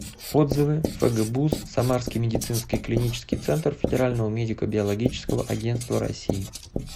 отзывы фгбуз самарский медицинский клинический центр федерального медико биологического агентства россии